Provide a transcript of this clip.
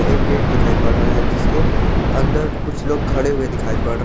एक गेट दिखाई पड़ रहा है जिसके अंदर कुछ लोग खड़े हुए दिखाई पड़ रहे--